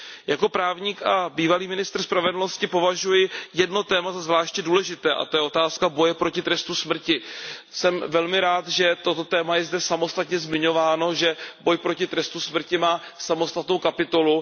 Jako právník a bývalý ministr spravedlnosti považuji jedno téma za zvláště důležité, a to je otázka boje proti trestu smrti. Jsem velmi rád, že toto téma je zde samostatně zmiňováno, že boj proti trestu smrti má samostatnou kapitolu.